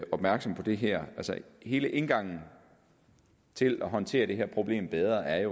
opmærksom på det her altså hele indgangen til at håndtere det her problem bedre er at